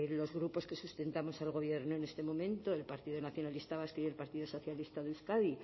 los grupos que sustentamos al gobierno en este momento el partido nacionalista vasco y el partido socialista de euskadi